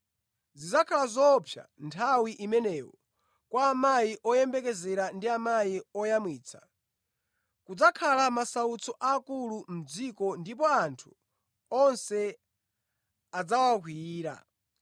Zidzakhala zoopsa nthawi imenewo kwa amayi oyembekezera ndi amayi oyamwitsa! Kudzakhala masautso aakulu mʼdziko ndipo anthu onse adzawakwiyira.